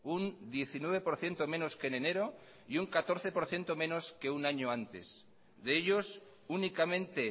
un diecinueve por ciento menos que en enero y un catorce por ciento menos que un año antes de ellos únicamente